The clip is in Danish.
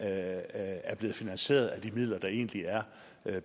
er blevet finansieret af de midler der egentlig er